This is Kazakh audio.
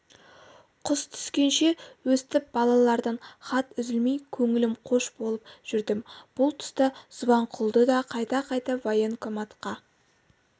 қыс түскенше өстіп балалардан хат үзілмей көңілім қош болып жүрдім бұл тұста субанқұлды да қайта-қайта военкоматқа